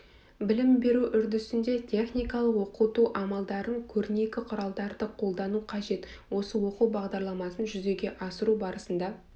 білім беру үрдісінде техникалық оқыту амалдарын көрнекі құралдарды қолдану қажет осы оқу бағдарламасын жүзеге асыру барысында